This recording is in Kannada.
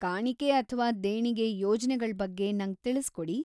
ಕಾಣಿಕೆ ಅಥ್ವಾ ದೇಣಿಗೆ ಯೋಜ್ನೆಗಳ್ ಬಗ್ಗೆ ನಂಗ್ ತಿಳ್ಸ್‌ಕೊಡಿ.